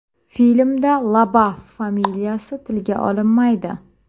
Filmda Labaf familiyasi tilga olinmaydi.